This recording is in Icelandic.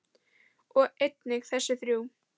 og einnig þessi þrjú